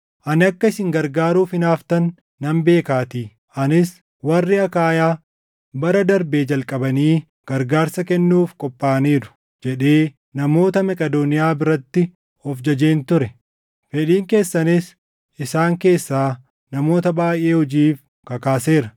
Ani akka isin gargaaruuf hinaaftan nan beekaatii; anis, “Warri Akaayaa bara darbee jalqabanii gargaarsa kennuuf qophaaʼaniiru” jedhee namoota Maqedooniyaa biratti of jajeen ture; fedhiin keessanis isaan keessaa namoota baayʼee hojiif kakaaseera.